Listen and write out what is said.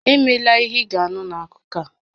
Emela ihe ị ga-anụ n'akụkọ a!